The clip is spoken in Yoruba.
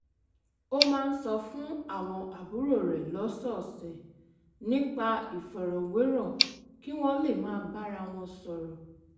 ó máa ń sọ fún àwọn àbúrò rẹ̀ lọ́sọ̀ọ̀sẹ̀ nípa ìfọ̀rọ̀wérọ̀ kí wọ́n lè máa bára wọn sọ̀rọ̀